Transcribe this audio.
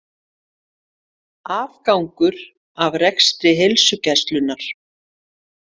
Afgangur af rekstri Heilsugæslunnar